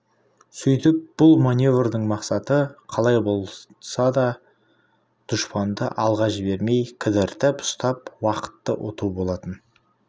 сөйтіп бұл маневрдің мақсаты қалай да дұшпанды алға жібермей кідіртіп ұстап уақытты ұту болатын